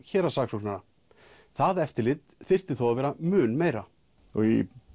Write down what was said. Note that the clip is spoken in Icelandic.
héraðssaksóknara það eftirlit þyrfti þó að vera mun meira í